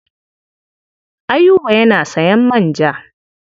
Ayuba yana sayan manja.